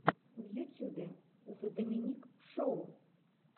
в ютюбе зе доминик шоу